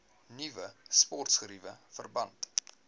nuwe sportgeriewe verband